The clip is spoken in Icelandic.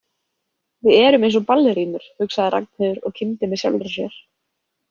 Við erum eins og ballerínur, hugsaði Ragnheiður og kímdi með sjálfri sér.